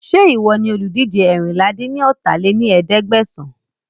Ń jẹ́ ìwọ ni olùdíje eérinlá-dín-ní-ọ́ta lé ní ẹ̀ẹ́dẹ́gbẹ́sán